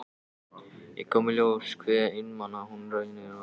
Þá kom í ljós hve einmana hún raunar var.